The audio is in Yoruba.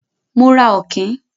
Mo ra Ọ̀kín.